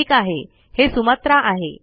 ठीक आहे हे सुमात्रा आहे